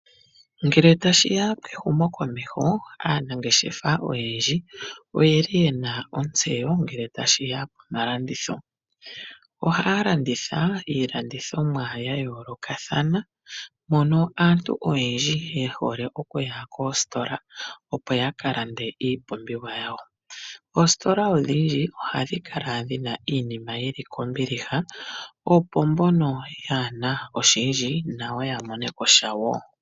Ngele tashi ya kehumokomeho aanangeshefa oyendji oyeli ye na ontseyo ngele tashi ya komalanditho . Ohaya landitha iilandithomwa ya yoolokathana mono aantu oyendji ye hole okuya koositola opo ya kalande iinima yawo . Oositola odhindji ohadhi kala dhi na iinima yi li kombiliha, opo mbono kaye na oshindji nayo ya mone ko shawo.